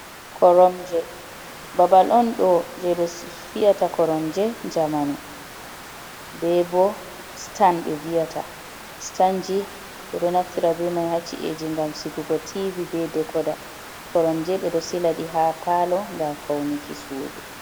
Koromje, babal on ɗo je ɓe fiyata koromje jamanu, ɓe bo stan be viyata. Stanji ɓe ɗo naftira be mai hacci eji ngam sigugo tibi, be dekoda, koromje ɓe ɗo silaɗi ha palo ngam faunuki sudu.